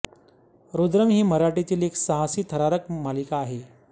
रुद्रम ही मराठीतील एक साहसी थरारक मालिका आहे